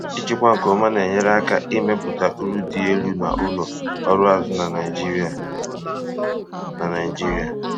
ịchịkwa nke ọma na-enyere aka ime pụta uru dị elu na ụlọ ọrụ azụ na Naijiria. na Naijiria.